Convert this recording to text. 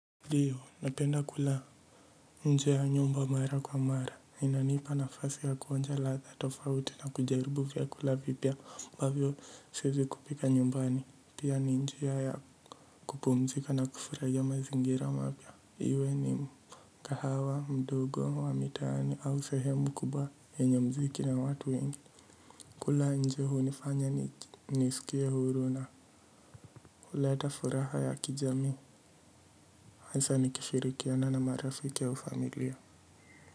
Ndiyo napenda kula nje ya nyumba mara kwa mara. Inanipa nafasi ya kuonja ladha tofauti na kujaribu vyakula vipya ambavyo siezi kupika nyumbani. Pia ni njia ya kupumzika na kufurahia mazingira mapya. Iwe ni mkahawa, mdogo, wa mitaani au sehemu kubwa yenye mziki na watu wengine. Kula nje hunifanya ni nisikie huru na huleta furaha ya kijamii. Hasa nikishirikiana na marafiki au familia.